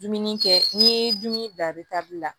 Dumuni kɛ n'i ye dumuni bila la